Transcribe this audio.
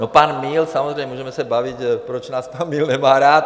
No pan Míl samozřejmě, můžeme se bavit, proč nás pan Míl nemá rád.